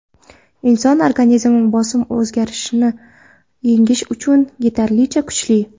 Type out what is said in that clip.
Inson organizmi bosim o‘zgarishini yengish uchun yetarlicha kuchli.